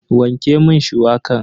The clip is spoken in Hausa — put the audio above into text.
Wanke mun shuwakan.